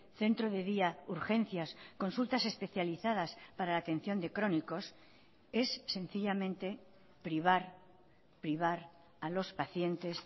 centro de día urgencias consultas especializadas para la atención de crónicos es sencillamente privar privar a los pacientes